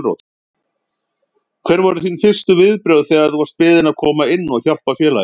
Hver voru þín fyrstu viðbrögð þegar þú varst beðinn að koma inn og hjálpa félaginu?